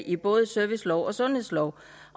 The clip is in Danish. i både servicelov og sundhedslov